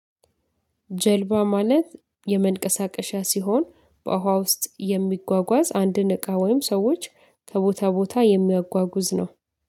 ጀልባ ማለት የመንቀሳቀሻ ሲሆን በውሃ ውስጥ የሚጓጓዝ አንድን እቃ ወይም ሰዎች ከቦታ ቦታ የሚያጓጉዝ ነው